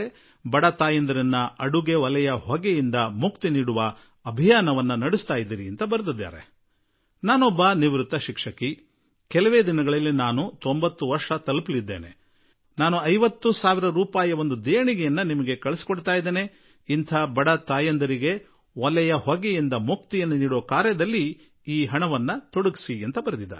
ಬಡ ತಾಯಂದಿರು ಒಲೆಯ ಹೊಗೆಯಿಂದ ಮುಕ್ತಿ ಪಡೆಯುವ ನಿಮ್ಮ ಆಂದೋಲನಕ್ಕೆ ನಾನು ಒಬ್ಬ ನಿವೃತ್ತ ಶಿಕ್ಷಕಿ ಇನ್ನೂ ಕೆಲವೇ ವರ್ಷಗಳಲ್ಲಿ ನನಗೆ 90 ವರ್ಷ ಆಗಿ ಬಿಡುತ್ತದೆ ಇದಕ್ಕಾಗಿ ನಾನು ನಿಮಗೆ 50 ಸಾವಿರ ರೂಪಾಯಿ ದೇಣಿಗೆ ಕಳುಹಿಸುತ್ತಿರುವೆ ಈ ಹಣವನ್ನು ನೀವು ಬಡ ಮಹಿಳೆಯರು ಒಲೆಯ ಹೊಗೆಯಿಂದ ಮುಕ್ತರಾಗುವಂತೆ ಮಾಡುವ ಕೆಲಸದಲ್ಲಿ ತೊಡಗಿಸಿ ಎಂದು ಅವರು ತಿಳಿಸಿದ್ದಾರೆ